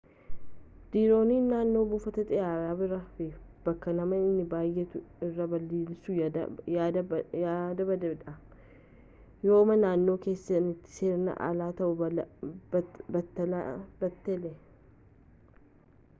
diroonii naannoo buufata xiyyaaraa bira fi bakkee namni itti baay'attu irra balaliisuun yaada badaa dha yooma naannoo keessaniitti seeraan ala ta'uu baatellee